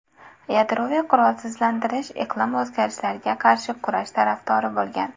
Yadroviy qurolsizlantirish, iqlim o‘zgarishlariga qarshi kurash tarafdori bo‘lgan.